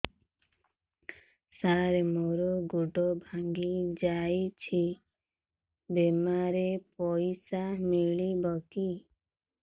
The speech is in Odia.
ସାର ମର ଗୋଡ ଭଙ୍ଗି ଯାଇ ଛି ବିମାରେ ପଇସା ମିଳିବ କି